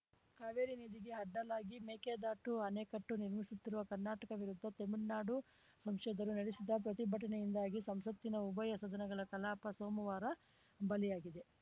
ಕಾವೇರಿ ನದಿಗೆ ಅಡ್ಡಲಾಗಿ ಮೇಕೆದಾಟು ಅಣೆಕಟ್ಟೆನಿರ್ಮಿಸುತ್ತಿರುವ ಕರ್ನಾಟಕ ವಿರುದ್ಧ ತಮಿಳ್ನಾಡು ಸಂಸದರು ನಡೆಸಿದ ಪ್ರತಿಭಟನೆಯಿಂದಾಗಿ ಸಂಸತ್ತಿನ ಉಭಯ ಸದನಗಳ ಕಲಾಪ ಸೋಮುವಾರ ಬಲಿಯಾಗಿದೆ